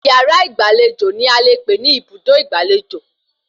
Yàrá ìgbàlejò ni a lè pè ní Ibùdó Ìgbàlejò